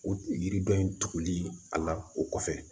O yiriden in tuguli a la o kɔfɛ